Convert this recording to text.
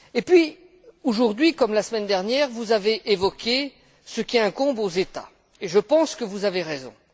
Et puis, aujourd'hui comme la semaine dernière, vous avez évoqué ce qui incombe aux États et je pense que vous avez raison.